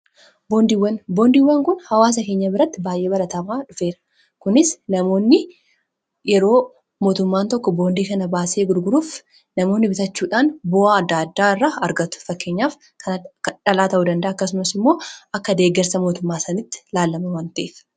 boondiiwwan kun hawaasa keenya biratti baay'ee baratamaa dhufeera. kunis namoonni yeroo mootummaan tokko boondii kana baasee gurguruuf namoonni bitachuudhaan bu'aa addaa addaa irra argatu. fakkeenyaaf kan akka dhalaa ta'uu danda'a. akkasumas immoo akka deggarsa mootummaa sanitti laalama waan ta'eef